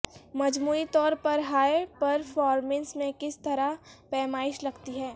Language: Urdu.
مجموعی طور پر ہائی پرفارمنس میں کس طرح پیمائش لگتی ہے